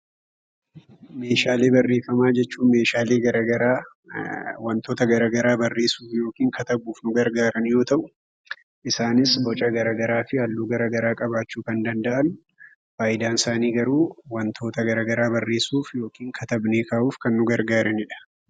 Meeshaalee barreeffamaa jechuun meeshaalee garagaraa wantoota garagaraa barreessuuf (katabuuf) nu gargaaran yoo ta'u, isaanis boca garagaraa fi halluu garagaraa qabaachuu kan danda'an faayidaan isaanii garuu wantoota garagaraa barreessuuf (katabnee kaa'uuf) kan nu gargaarani dha.